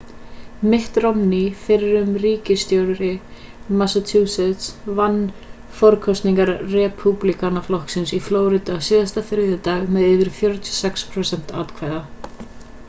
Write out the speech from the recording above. mitt romney fyrrum ríkisstjóri massachusetts vann forkosningar repúblikanaflokksins í flórída síðasta þriðjudag með yfir 46 prósent atkvæða